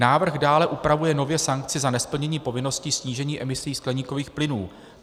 Návrh dále upravuje nově sankci za nesplnění povinnosti snížení emisí skleníkových plynů.